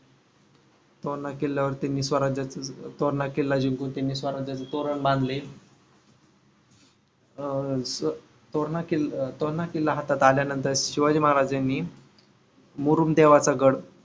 तोरणा किल्ल्यावरती मी त्यांनी स्वराज्याच तोरणा किल्ला जिंकून त्यांनी स्वराज्याचे तोरण बांधले. अह तोरणा किल तोरणा किल्ला हातात आल्या नंतर शिवाजी महाराजांनी मुरूम देवाचा गढ